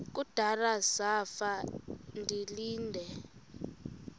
kudala zafa ndilinde